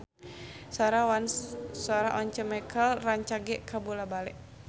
Sora Once Mekel rancage kabula-bale